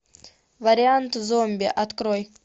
вариант зомби открой